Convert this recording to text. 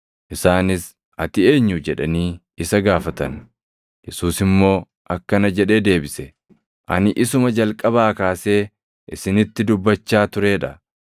Isaanis, “Ati eenyu?” jedhanii isa gaafatan. Yesuus immoo akkana jedhee deebise; “Ani isuma jalqabaa kaasee isinitti dubbachaa turee dha.